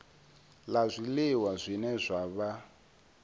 la zwiliwa zwine zwa vha